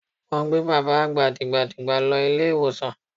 Wọ́n gbé bàbá àgbà dìgbàdìgbà lọ ilé ìwòsàn.